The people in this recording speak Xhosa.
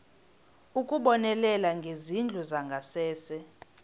ukubonelela ngezindlu zangasese